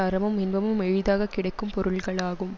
அறமும் இன்பமும் எளிதாக் கிடைக்கும் பொருள்களாகும்